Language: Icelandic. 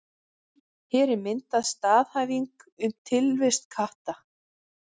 Hér er mynduð staðhæfing um tilvist katta.